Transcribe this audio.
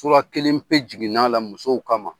kelen pe jiginna a la musow kama.